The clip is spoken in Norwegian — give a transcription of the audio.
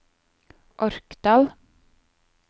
Orkdal